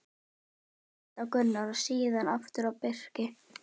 Ragnar leit á Gunnar og síðan aftur á Birki.